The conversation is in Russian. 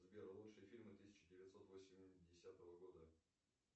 сбер лучшие фильмы тысяча девятьсот восьмидесятого года